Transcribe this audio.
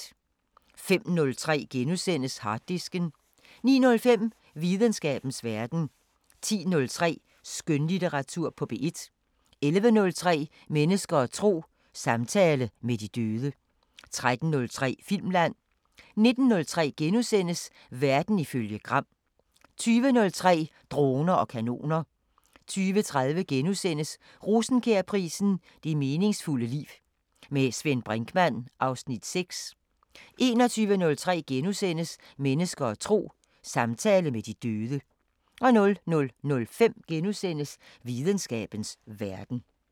05:03: Harddisken * 09:05: Videnskabens Verden 10:03: Skønlitteratur på P1 11:03: Mennesker og tro: Samtale med de døde 13:03: Filmland 19:03: Verden ifølge Gram * 20:03: Droner og kanoner 20:30: Rosenkjærprisen: Det meningsfulde liv. Med Svend Brinkmann (Afs. 6)* 21:03: Mennesker og tro: Samtale med de døde * 00:05: Videnskabens Verden *